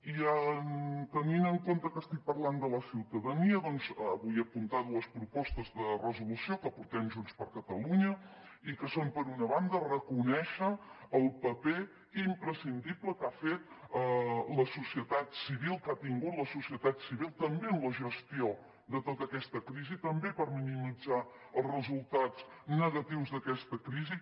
i tenint en compte que estic parlant de la ciutadania doncs vull apuntar dues propostes de resolució que aportem junts per catalunya i que són per una banda reconèixer el paper imprescindible que ha fet la societat civil que ha tingut la societat civil també en la gestió de tota aquesta crisi també per minimitzar els resultats negatius d’aquesta crisi